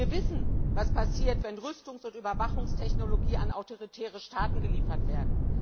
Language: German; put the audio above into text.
Wir wissen, was passiert, wenn Rüstungs und Überwachungstechnologie an autoritäre Staaten geliefert wird.